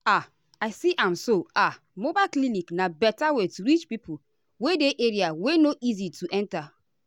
as i see am so ah mobile clinic na better way to reach pipo wey dey area wey no easy to enta.